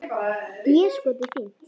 Déskoti fínt.